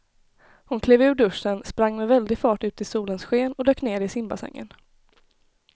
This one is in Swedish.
Hon klev ur duschen, sprang med väldig fart ut i solens sken och dök ner i simbassängen.